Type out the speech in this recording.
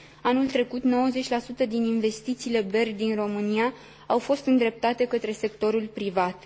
Anul trecut, 90 din investițiile BERD din România au fost îndreptate către sectorul privat.